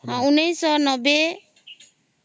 ଊଂନୈଷ ନବେ